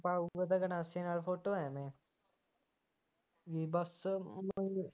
ਪਾਊਗਾ ਤਾਂ ਗੰਡਾਸੇ ਨਾਲ ਫੋਟੋ ਐਵੇਂ ਬਈ ਵੱਟਸਅੱਪ